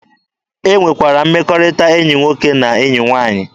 E nwere mmekọrịta enyi nwoke na enyi nwaanyị.